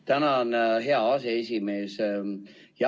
Tänan, hea aseesimees!